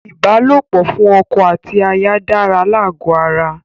Ìbálòpọ̀ fún ọkọ àti aya dára lágó ara.